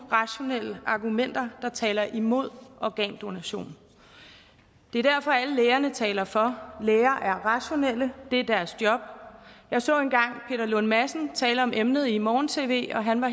rationelle argumenter der taler imod organdonation det er derfor alle lægerne taler for læger er rationelle det er deres job jeg så engang peter lund madsen tale om emnet i morgen tv han var